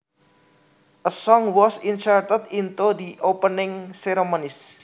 A song was inserted into the opening ceremonies